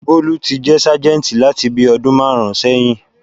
Bólú ti jẹ́ sájẹ̀ǹtì láti bíi ọdún márùn-ún sẹyìn